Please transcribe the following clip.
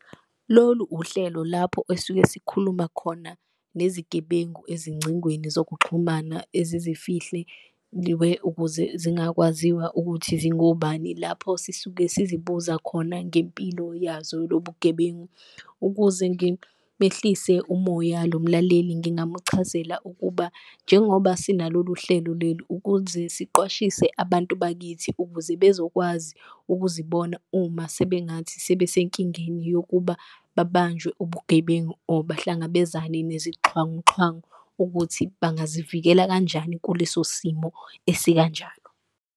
Lolu uhlelo lapho esuke sikhuluma khona ngezigebengu ezingcingweni zokuxhumana ezizifihle ukuze zingakwaziwa ukuthi zingobani, lapho sisuke sizibuza khona ngempilo yazo lobugebengu. Ukuze ngimehlise umoya lo mlaleli ngingamuchazela ukuba njengoba sina lolu hlelo leli ukuze siqwashise abantu bakithi, ukuze bezokwazi ukuzibona uma sebengathi sebesenkingeni yokuba babanjwe ubugebengu. Or bahlangabezane nezixhwanguxhwangu ukuthi bangazivikela kanjani kuleso simo esikanjalo.